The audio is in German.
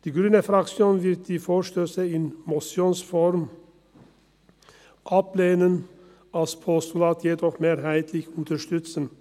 Die grüne Fraktion wird die Vorstösse in Motionsform ablehnen, als Postulat jedoch mehrheitlich unterstützen.